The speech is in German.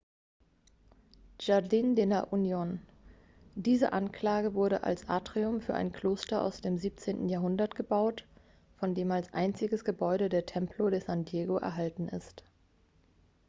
jardín de la unión. diese anlage wurde als atrium für ein kloster aus dem 17. jahrhundert gebaut von dem als einziges gebäude der templo de san diego erhalten ist